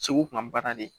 Segu tun ka baara de